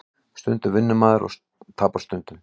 Stundum vinnur maður og tapar stundum